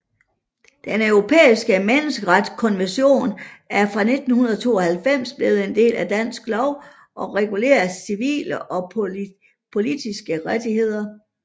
Den Europæiske Menneskerettighedskonvention er fra 1992 blevet en del af dansk lov og regulerer civile og politiske rettigheder